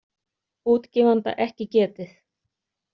Útgefanda ekki getið.